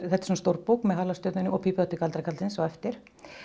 svona stór bók með halastjörnunni og pípuhatti galdrakarlsins á eftir